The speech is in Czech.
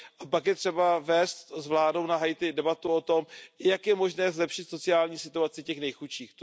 Pak je třeba vést s vládou na Haiti debatu o tom, jak je možné zlepšit sociální situaci těch nejchudších.